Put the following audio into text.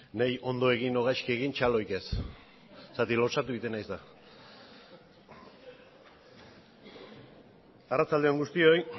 niri ondo egin edo gaizki egin txalorik ez lotsatu egiten naiz eta arratsalde on guztioi